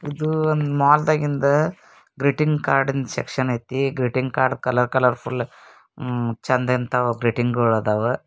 ಇದು ಮಾಲ್ದಾಗಿಂದು greeting card section ಐತಿ ಫುಲ್ ಚಂದದ ಗ್ರೀಟಿಂಗ್ ಅದವಾ.